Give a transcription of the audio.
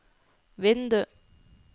vindu